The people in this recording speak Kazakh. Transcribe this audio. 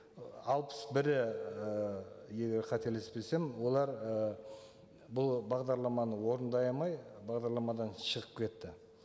ы алпыс бірі і егер қателеспесем олар і бұл бағдарламаны орындай алмай бағдарламадан шығып кетті